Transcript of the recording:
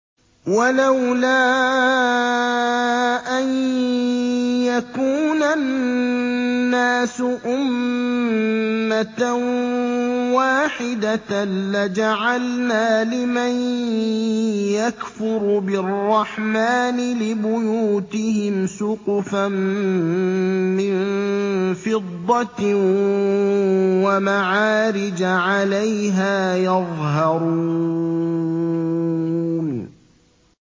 وَلَوْلَا أَن يَكُونَ النَّاسُ أُمَّةً وَاحِدَةً لَّجَعَلْنَا لِمَن يَكْفُرُ بِالرَّحْمَٰنِ لِبُيُوتِهِمْ سُقُفًا مِّن فِضَّةٍ وَمَعَارِجَ عَلَيْهَا يَظْهَرُونَ